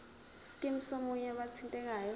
scheme somunye wabathintekayo